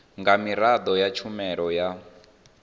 nga miraḓo ya tshumelo ya